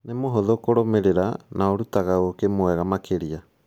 Nĩ mũhũthũ kũrũmĩrĩra na ũrutaga ũkĩ mwega makĩria